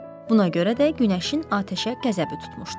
Buna görə də günəşin atəşə qəzəbi tutmuşdu.